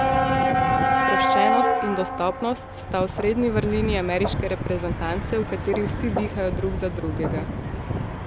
Sproščenost in dostopnost sta osrednji vrlini ameriške reprezentance, v kateri vsi dihajo drug za drugega.